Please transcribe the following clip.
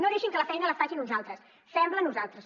no deixin que la feina la facin uns altres fem la nosaltres